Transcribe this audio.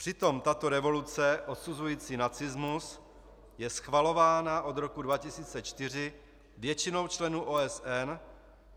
Přitom tato rezoluce odsuzující nacismus je schvalována od roku 2004 většinou členů OSN.